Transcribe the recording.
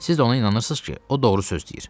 Siz ona inanırsız ki, o doğru söz deyir.